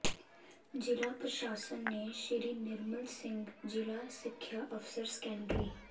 ਜਿਲਾ ਪ੍ਰਸ਼ਾਸਨ ਨੇ ਸ੍ਰੀ ਨਿਰਮਲ ਸਿੰਘ ਜ਼ਿਲ੍ਹਾ ਸਿੱਖਿਆ ਅਫਸਰ ਸੈਕੰਡਰੀ